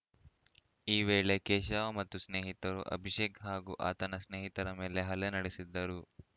ಈ ವೇಳೆ ಕೇಶವ ಮತ್ತು ಸ್ನೇಹಿತರು ಅಭಿಷೇಕ್‌ ಹಾಗೂ ಆತನ ಸ್ನೇಹಿತರ ಮೇಲೆ ಹಲ್ಲೆ ನಡೆಸಿದ್ದರು